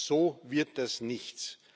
So wird das nichts!